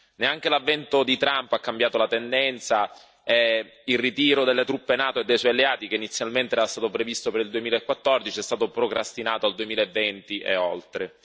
Neanche l'avvento di Trump ha cambiato la tendenza, e il ritiro delle truppe NATO e dei suoi alleati, che inizialmente era stato previsto per il 2014, è stato procrastinato al 2020 e oltre.